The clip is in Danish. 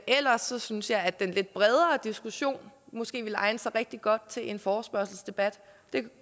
ellers synes jeg at den lidt bredere diskussion måske ville egne sig rigtig godt til en forespørgselsdebat det